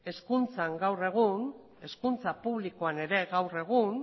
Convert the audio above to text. hezkuntzan gaur egun hezkuntza publikoan ere gaur egun